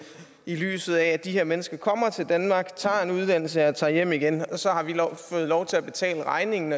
i lyset af at de her mennesker kommer til danmark tager en uddannelse og tager hjem igen og så har vi fået lov til at betale regningen